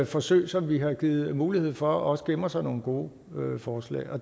forsøg som vi har givet mulighed for også gemmer sig nogle gode forslag